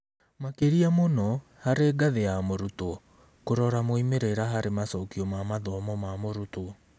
Makĩria mũno, harĩ ngathĩ ya mũrutwo: kũrora moimĩrĩra harĩ macokio ma mathomo ma mũrutwo.